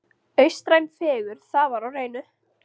Austræn fegurð, það var á hreinu.